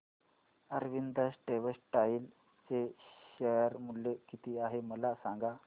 Arvind textile चे share मूल्य किती आहे मला सांगा